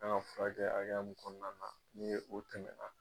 A k'an ka furakɛ hakɛya min kɔnɔna, n ye o tɛmɛna.